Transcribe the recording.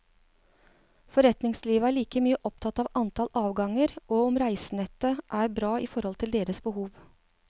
Forretningslivet er like mye opptatt av antall avganger, og om reisenettet er bra i forhold til deres behov.